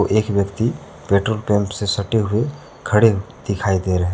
एक व्यक्ति petrol pump से सटे हुए खड़े दिखाई दे रहे हैं।